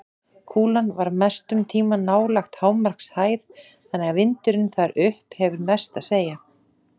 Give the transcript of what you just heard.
Kúlan ver mestum tíma nálægt hámarkshæð þannig að vindurinn þar upp hefur mest að segja.